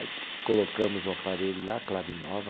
Aí colocamos o aparelho lá, clave nova,